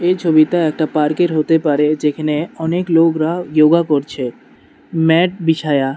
এই ছবিটা একটা পার্ক এর হতে পারে যেখানে অনেক লোগরা য়োগা করছে ম্যাট বিছায়া।